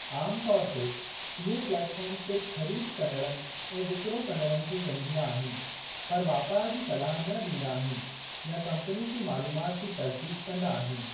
आम तौर ते, इहे प्लेट फ़ार्म सिर्फ़ ख़रीद कंदड़नि ऐं विकिरो कंदड़नि खे ॻंढींदा आहिनि पर वापारु जी सलाह न ॾींदा आहिनि या कम्पनी जी मालूमात जी तसदीक़ कंदा आहिनि।